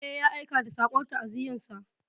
Eh, ya aika da saƙon ta'aziyyarsa.